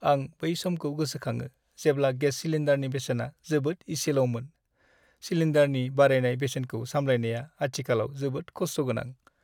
आं बै समखौ गोसोखाङो जेब्ला गेस सिलिन्डारनि बेसेना जोबोद इसेल'मोन। सिलिन्डारनि बारायनाय बेसेनखौ सामलायनाया आथिखालाव जोबोद खस्थ' गोनां।